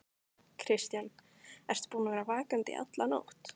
Kristján: Ertu búinn að vera vakandi í alla nótt?